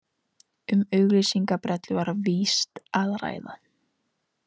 Um auglýsingabrellu var víst að ræða